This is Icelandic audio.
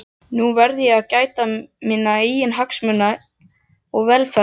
Nú verð ég að gæta minna eigin hagsmuna og velferðar.